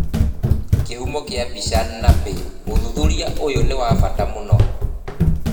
Kihumo kia mbica, NAPPY, Ũthuthuria ũyũ nĩ wa bata mũno.